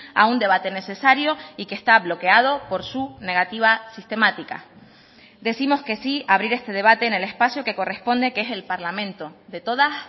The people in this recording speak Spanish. a un debate necesario y que está bloqueado por su negativa sistemática decimos que sí a abrir este debate en el espacio que corresponde que es el parlamento de todas